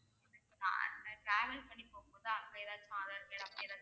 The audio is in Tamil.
ஆஹ் அங்க travel பண்ணி போகும்போது அங்க ஏதாச்சும் aadhar card அப்படி ஏதாச்சும்